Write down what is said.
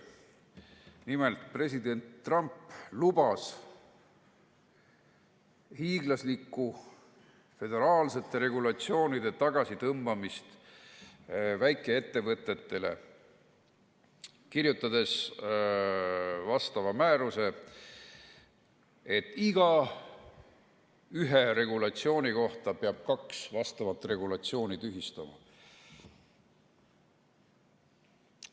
Nimelt, president Trump lubas hiiglaslikku föderaalsete regulatsioonide tagasitõmbamist väikeettevõtetele, kirjutades määruse, et iga uue regulatsiooni kohta peab kaks vastavat regulatsiooni tühistama.